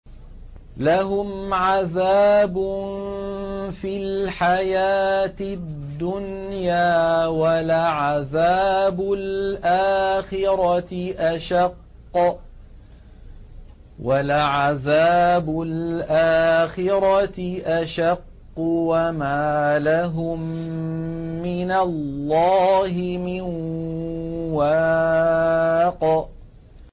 لَّهُمْ عَذَابٌ فِي الْحَيَاةِ الدُّنْيَا ۖ وَلَعَذَابُ الْآخِرَةِ أَشَقُّ ۖ وَمَا لَهُم مِّنَ اللَّهِ مِن وَاقٍ